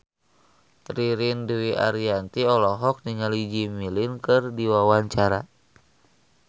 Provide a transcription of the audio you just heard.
Ririn Dwi Ariyanti olohok ningali Jimmy Lin keur diwawancara